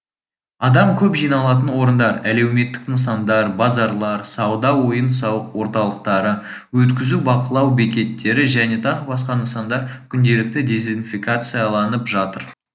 адам көп жиналатын орындар әлеуметтік нысандар базарлар сауда ойын сауық орталықтары өткізу бақылау бекеттері және тағы басқа нысандар күнделікті дезинфекцияланып жатыр